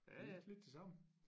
Er ikke lidt det samme